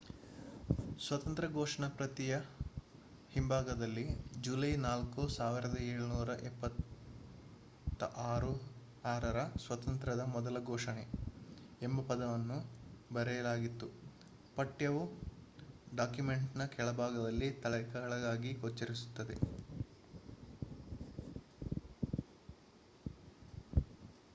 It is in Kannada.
ಸ್ವಾತಂತ್ರ್ಯ ಘೋಷಣೆ ಪ್ರತಿಯ ಹಿಂಭಾಗದಲ್ಲಿ ಜುಲೈ 4 1776 ರ ಸ್ವಾತಂತ್ರ್ಯದ ಮೂಲ ಘೋಷಣೆ ಎಂಬ ಪದಗಳನ್ನು ಬರೆಯಲಾಗಿತ್ತು. ಪಠ್ಯವು ಡಾಕ್ಯುಮೆಂಟ್‌ನ ಕೆಳಭಾಗದಲ್ಲಿ ತಲೆಕೆಳಗಾಗಿ ಗೋಚರಿಸುತ್ತದೆ